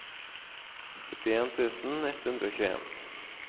syttien tusen ett hundre og tjueen